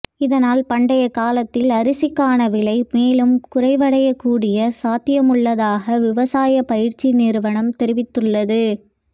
இதனால் பண்டிகைக்காலத்தில் அரிசிக்கான விலை மேலும் குறைவடையக்கூடிய சாத்தியமுள்ளதாக விவசாய பயிற்சி நிறுவனம் தெரிவித்துள்ளது